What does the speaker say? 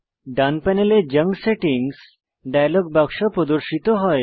ডান প্যানেলে junk settings dialog বাক্স প্রদর্শিত হয়